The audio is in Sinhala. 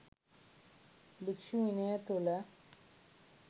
භික්‍ෂු විනය තුළ